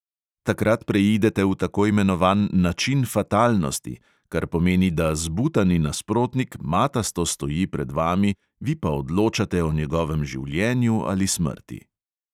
Takrat preidete v tako imenovan način fatalnosti, kar pomeni, da zbutani nasprotnik matasto stoji pred vami, vi pa odločate o njegovem življenju ali smrti.